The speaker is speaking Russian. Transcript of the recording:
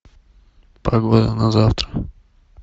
погода на завтра